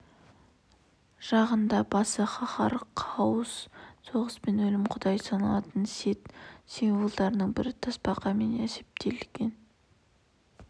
жағында басы қаһар хаос соғыс пен өлім құдайы саналатын сет символдарының бірі тасбақамен әспеттелген адам